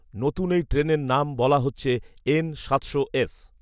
নতুন এই ট্রেনের নাম বলা হচ্ছে এন সাতশো এস